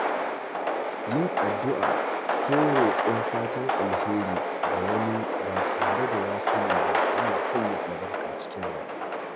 Yin addu’a ko roƙon fatan alheri ga wani ba tare da ya sani ba yana sanya albarka cikin rayuwa.